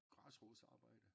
Græsrodsarbejde